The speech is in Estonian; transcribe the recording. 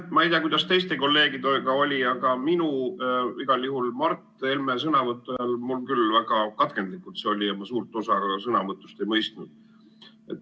Ma ei tea, kuidas on teiste kolleegidega, aga minu ühendus oli igal juhul Mart Helme sõnavõtu ajal küll väga katkendlik ja ma suurt osa tema sõnavõtust ei mõistnud.